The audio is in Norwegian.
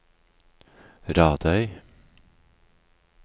Radøy